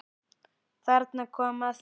Þarna kom að því.